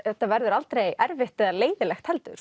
þetta verður aldrei erfitt eða leiðinlegt heldur